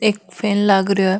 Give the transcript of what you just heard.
एक फैन लाग रयो है।